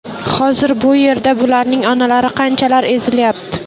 Hozir bu yerda bularning onalari qanchalar ezilyapti.